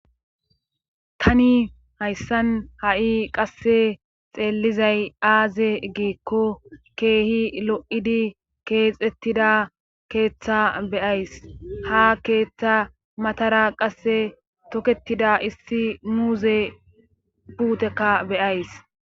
Tani hayssan ha'i qasse xeellizay aaze giikko keehi lo'idi keexettida keeththa beyays ha keeththa matara qasse toketida issi muuze puutekka beyays.